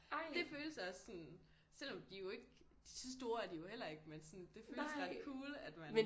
Det føles også sådan selvom de jo ikke så store er de jo heller ikke men sådan det føles ret cool at man